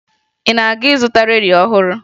Ị na-aga ịzụta redio ọhụrụ?